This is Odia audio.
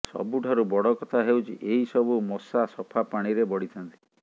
ସବୁଠାରୁ ବଡ କଥା ହେଉଛି ଏହି ସବୁ ମଶା ସଫା ପାଣିରେ ବଢିଥାନ୍ତି